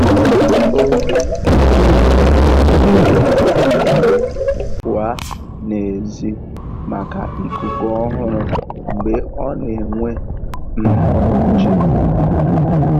Ó um kwèrè um pụ́ọ́ n'èzí màkà íkúkú ọ́hụ̀rụ̀ mgbe ọ́ nà-énwé um nchégbù.